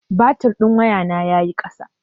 Batir ɗin wayana ya yi ƙasa.